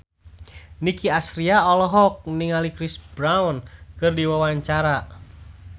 Nicky Astria olohok ningali Chris Brown keur diwawancara